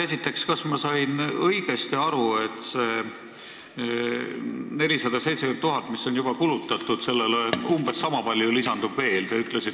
Esiteks, kas ma sain õigesti aru, et 470 000 eurole, mis on juba kulutatud, umbes sama palju lisandub veel?